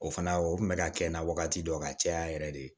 O fana o kun bɛ ka kɛ n na wagati dɔ ka caya yɛrɛ de